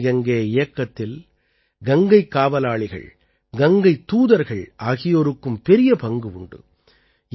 நமாமி கங்கே இயக்கத்தில் கங்கைக் காவலாளிகள் கங்கைத் தூதர்கள் ஆகியோருக்கும் பெரிய பங்கு உண்டு